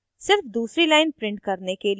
सिर्फ दूसरी line print करने के लिए